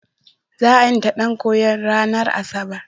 Za a ƴanta ɗan koyon ranar Asabar.